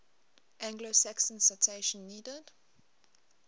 anglo saxons citation needed